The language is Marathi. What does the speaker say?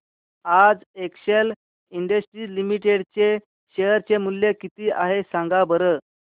आज एक्सेल इंडस्ट्रीज लिमिटेड चे शेअर चे मूल्य किती आहे सांगा बरं